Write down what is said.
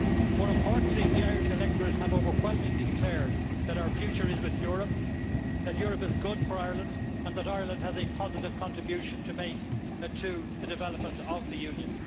More importantly, the Irish electorate have overwhelmingly declared that our future is with Europe, that Europe is good for Ireland and that Ireland has a positive contribution to make to the development of the Union.